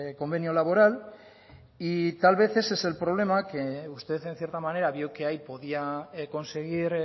convenio laboral y tal vez ese es el problema que usted en cierta manera vio que ahí podía conseguir